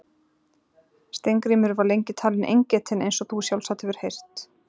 Steingrímur var lengi talinn eingetinn eins og þú sjálfsagt hefur heyrt.